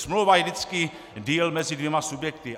Smlouva je vždycky deal mezi dvěma subjekty.